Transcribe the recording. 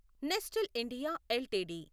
Nestle India LTD